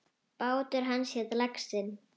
Bátur hans hét Laxinn.